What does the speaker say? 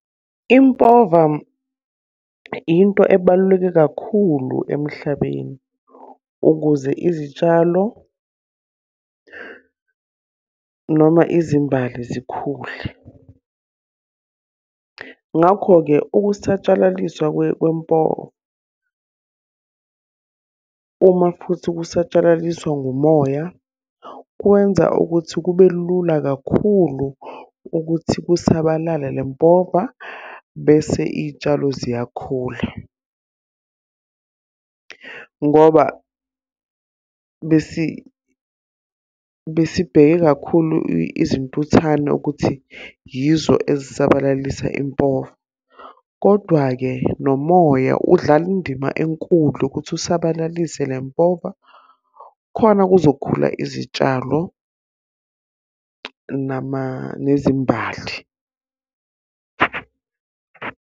Impova into ebaluleke kakhulu emhlabeni, ukuze izitshalo noma izimbali zikhule. Ngakho-ke ukusatshalaliswa kwempova uma futhi kusatshalaliswa ngumoya, kwenza ukuthi kube lula kakhulu ukuthi kusabalale le mpova bese iy'tshalo ziyakhula. Ngoba besibheke kakhulu izintuthane ukuthi yizo ezisabalalisa impova. Kodwa-ke nomoya udlala indima enkulu ukuthi asabalalise le mpova, khona kuzokhula izitshalo nezimbali.